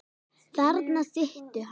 Þarna situr hann.